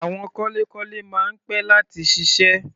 Àwọn kọ́lékọ́lé máa ń pẹ́ láti ṣiṣẹ́.